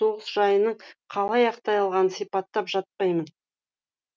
соғыс жайының қалай аяқталғанын сипаттап жатпаймын